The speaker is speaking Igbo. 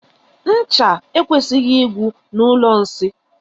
Ncha ekwesighi igwu na ụlọ nsị.